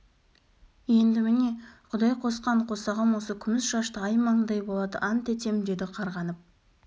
енді міне құдай қосқан қосағым осы күміс шашты ай маңдай болады ант етем деді қарғанып